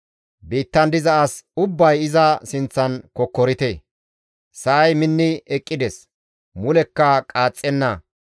Biittan diza as ubbay iza sinththan kokkorite; Sa7ay minni eqqides; mulekka qaaxxenna.